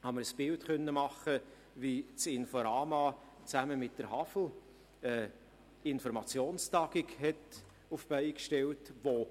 Dabei konnte ich mir ein Bild davon machen, wie das Inforama zusammen mit der Hochschule für Agrar-, Forst- und Lebensmittelwissenschaften (HAFL) eine Informationstagung auf die Beine gestellt hat.